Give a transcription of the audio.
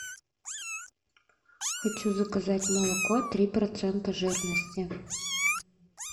хочу заказать молоко три процента жирности